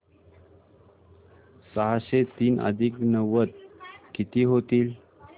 सहाशे तीन अधिक नव्वद किती होतील